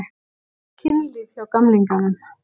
Kynlíf hjá gamlingjunum?